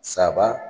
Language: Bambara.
Saba